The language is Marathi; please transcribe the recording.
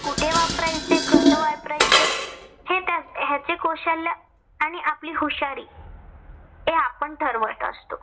कुठे वापरायचे? कसे वापरायचे? हे त्या ह्याचे कौशल्य आणि आपली हुशारी ते आपण ठरवत असतो.